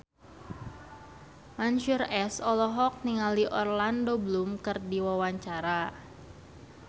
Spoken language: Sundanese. Mansyur S olohok ningali Orlando Bloom keur diwawancara